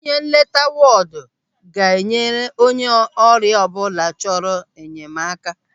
Onye nleta wọdụ ga-nyere onye ọrịa ọbụla chọrọ enyemaka.